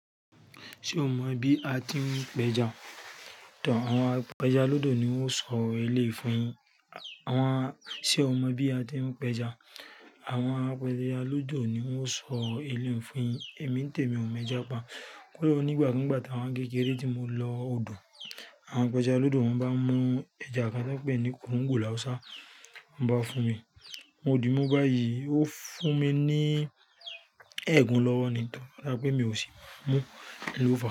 Ṣé o mọ bí a ti ń pẹja? To, àwọn apẹja lódò ni wón o sọ eléyìí fún yi, àwọn, ṣe o mọ bí a ti ń pẹja? Àwọn apẹja lódò ni wón o sọ eléyìí fún yi, èmi ń tèmí o mọ ẹja pa. Kuró nígbà nigba táwa ni kékeré tí mo lọ odò, àwọn apẹja lódò won bá mú ẹja kan tán pé ni kòńgò lawúsá, woń bá fún mi. Mo di mú bá yi, ó fún mi ní ẹẹ́gún lọ́wọ́ nìtan, mo wa so pé mi ò sì mú, un lofa.